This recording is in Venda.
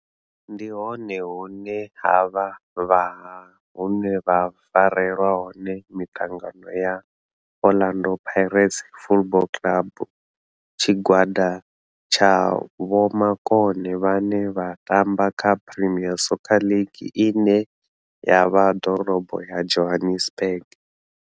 Ndi hone hune havha haya hune ha farelwa hone mitangano ya Orlando Pirates Football Club. Tshigwada tsha vhomakone vhane vha tamba kha Premier Soccer League ine ya vha Dorobo ya Johannesburg.